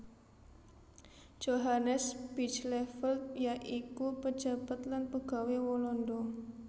Johannes Bijleveld ya iku pejabat lan pegawé Walanda